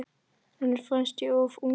Henni fannst ég of ungur.